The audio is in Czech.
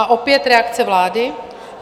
A opět reakce vlády?